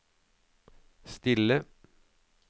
stille